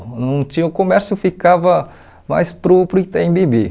Não tinha... O comércio ficava mais para o para o Itaim Bibi.